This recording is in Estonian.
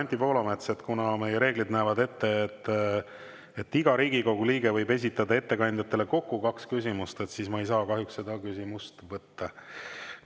Aga, Anti Poolamets, kuna meie reeglid näevad ette, et iga Riigikogu liige võib esitada ettekandjatele kokku kaks küsimust, siis ma ei saa kahjuks seda küsimust võtta.